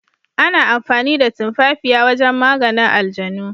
Ana amfani da tumafafiya wajen maganin aljanu.